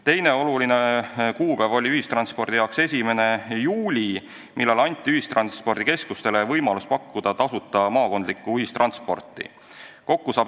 Teine oluline kuupäev oli ühistranspordi jaoks 1. juuli, millal anti ühistranspordikeskustele võimalus pakkuda tasuta maakondlikku ühistransporti.